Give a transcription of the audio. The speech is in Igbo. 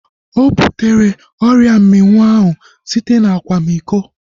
Ọ butere ọrịa mminwụ ahu site na akwamiko